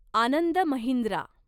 Anand Mahindra